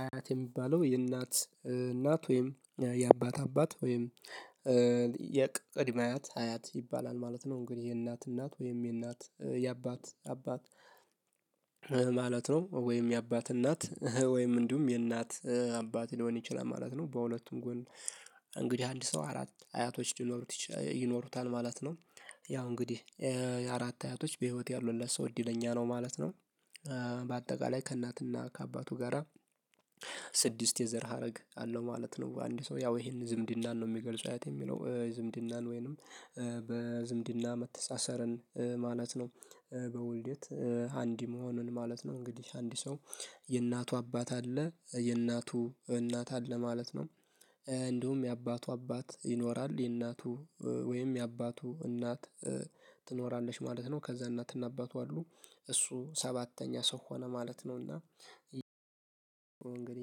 አያት የሚባለው የእናት እናት ወይም የአባት አባት ወይም የቅድመ አያት አያት ይባላል ማለት ነው። እንግዲህ የእናት እናት ወይም የእናት የአባት አባት ማለት ነው ወይም የአባት እናት ወይም እንዲሁም የእናት አባት ሊሆን ይችላል ማለት ነው። በሁለቱም ጎን እንግዲህ አንድ ሰው አራት አያቶች ሊኖሩት ይኖሩታል ማለት ነው። ያው እንግዲህ አራት አያቶች በህይወት ያሉለት ሰው እድለኛ ነው ማለት ነው። በአጠቃላይ ከእናትና ከአባቱ ጋራ ስድስት የዘር ሀረግ አለው ማለት ነው። በአንድ ሰው ያው ይሄን ዝምድናን ነው የሚገልጽ አያት የሚለው ዝምድናን ወይንም በዝምድና መተሳሰርን ማለት ነው። በውልደት አንድ መሆኑን ማለት ነው። እንግዲህ አንድ ሰው የእናቱ አባት አለ የእናቱ እናት አለ ማለት ነው። እንደውም የአባቱ አባት ይኖራል የእናቱ ወይም የአባቱ እናት ትኖራለች ማለት ነው። ከዛ እናትና አባቱ አሉ እሱ ሰባተኛ ሰው ሆነ ማለት ነውና።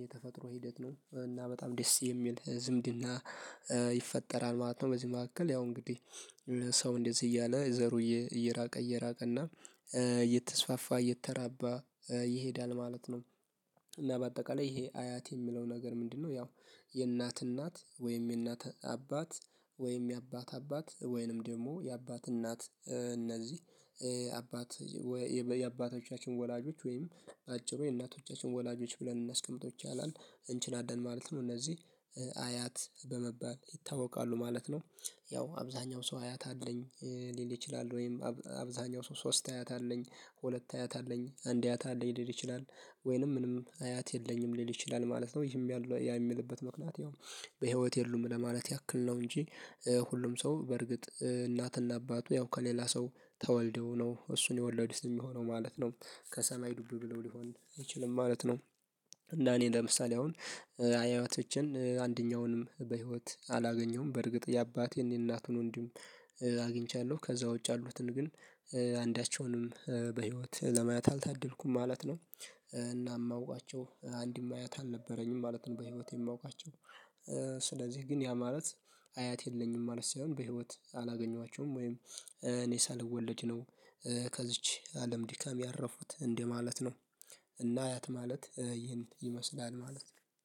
የተፈጥሮ ሂደት ነው እና በጣም ደስ የሚል ዝምድና ይፈጠራል ማለት ነው። በዚህ መካከል ያው እንግዲህ ሰው እንደዚህ እያለ ዘሩ እየራቀ እየራቀና እየተስፋፋ እየተራባ ይሄዳል ማለት ነው። እና በአጠቃላይ ይሄ አያት የሚለው ነገር ምንድነው? ያው የእናት እናት ወይም የእናት አባት ወይም የአባት አባት ወይንም ደግሞ የአባት እናት እነዚህ አባት የአባቶቻችን ወላጆች ወይም በአጭሩ የእናቶቻችን ወላጆች ብለን እናስቀምጠው ይቻላል እንችላለን ማለት ነው። እነዚህ አያት በመባል ይታወቃሉ ማለት ነው። ያው አብዛኛው ሰው አያት አለኝ ሊል ይችላል ወይም አብዛኛው ሰው ሶስት አያት አለኝ ሁለት አያት አለኝ አንድ አያት አለኝ ሊል ይችላል ወይንም ምንም አያት የለኝም ሊል ይችላል ማለት ነው። ይሄም ያ የሚልበት ምክንያት ያው በህይወት የሉም ለማለት ያክል ነው። እንጂ ሁሉም ሰው በርግጥ እናትና አባቱ ያው ከሌላ ሰው ተወልደው ነው እሱን የወለዱት የሚሆነው ማለት ነው። ከሰማይ ዱብ ብለው ሊሆን አይችልም ማለት ነው። እና እኔ ለምሳሌ አሁን አያያቶቸን አንደኛውንም በህይወት አላገኘሁም በርግጥ የአባቴን የእናቱን ወንድም። አግኝቻለሁ ከዛ ውጭ ያሉትን ግን አንዳቸውንም በህይወት ለማየት አልታደልኩም ማለት ነው። እና የማውቃቸው አንድም አያት አልነበረኝም ማለት ነው። በህይወቴ የማውቃቸው ስለዚህ ግን ያ ማለት አያት የለኝም ማለት ሳይሆን በህይወት አላገኟቸውም ወይም እኔ ሳልወለድ ነው። ከዚች አለም ዲካም ያረፉት እንደ ማለት ነው። እና አያት ማለት ይህን ይመስላል ማለት ነው።